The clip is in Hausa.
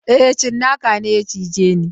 E, tsinaka ne ya cije ni.